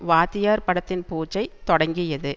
வாத்தியார் படத்தின் பூஜை தொடங்கியது